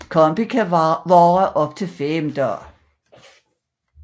Kampen kan vare op til fem dage